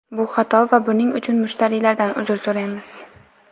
Bu xato va buning uchun mushtariylardan uzr so‘raymiz.